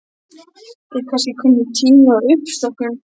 Er kannski kominn tími á uppstokkun?